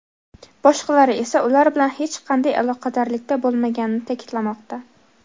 boshqalari esa ular bilan hech qanday aloqadorlikda bo‘lmaganini ta’kidlamoqda.